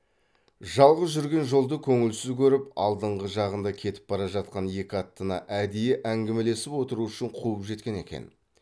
жалғыз жүрген жолды көңілсіз көріп алдыңғы жағында кетіп бара жатқан екі аттыны әдейі әңгімелесіп отыру үшін қуып жеткен екен